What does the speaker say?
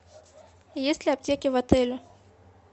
есть ли аптеки в отеле